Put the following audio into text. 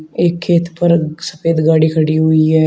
एक खेत पर सफेद गाड़ी खड़ी हुई है।